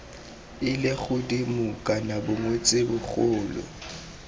ile godimo kana bongwetsi bogolo